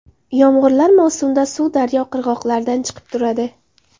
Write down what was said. Yomg‘irlar mavsumda suv daryo qirg‘oqlaridan chiqib turadi.